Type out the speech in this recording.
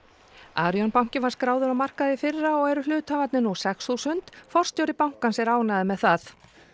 Arion banki var skráður á markað í fyrra og nú eru hluthafarnir sex þúsund forstjóri bankans er mjög ánægður með það